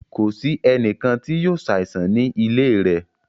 Kò sì ènìkàn tí yóò ṣàìsàn ní ilẹ̀ rẹ̀.